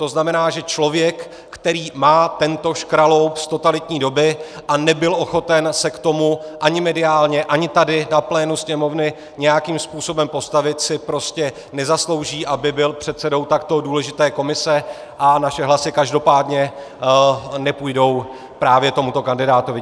To znamená, že člověk, který má tento škraloup z totalitní doby a nebyl ochoten se k tomu ani mediálně, ani tady na plénu Sněmovny nějakým způsobem postavit, si prostě nezaslouží, aby byl předsedou takto důležité komise, a naše hlasy každopádně nepůjdou právě tomuto kandidátovi.